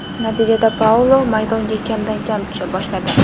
Natijada Paulo maydonga kamdan kam tusha boshladi.